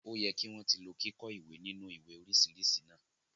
O yẹ ki wọn ti lò kikọ ìwé ninu ìwé oríṣiríṣi náà.